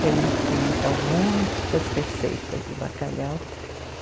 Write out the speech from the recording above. Que a gente tinha, então, muitas receitas de bacalhau.